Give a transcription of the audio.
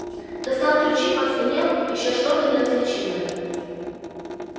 достал ключи позвенел ещё что-то неразличимое